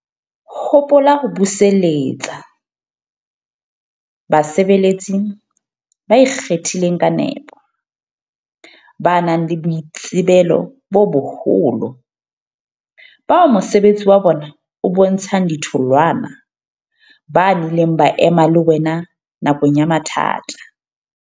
Hopola ho buselletsa basebeletsi ba ikgethileng ka nepo, ba nang le boitsebelo bo boholo, bao mosebetsi wa bona o bontshang ditholwana, ba nnileng ba ema le wena nakong tsa mathata.